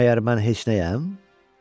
Məgər mən heç nəyəm?